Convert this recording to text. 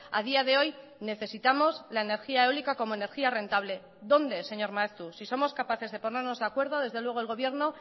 a día de hoy necesitamos la energía eólica como energía rentable dónde señor maeztu si somos capaces de ponernos de acuerdo desde luego el gobierno